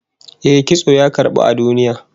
Eh, kitso ya karbu a duniya